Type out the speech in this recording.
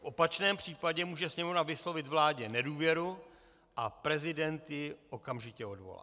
V opačném případě může Sněmovna vyslovit vládě nedůvěru a prezident ji okamžitě odvolá.